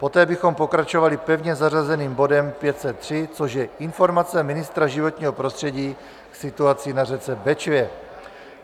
Poté bychom pokračovali pevně zařazeným bodem 503, což je informace ministra životního prostředí k situaci na řece Bečvě.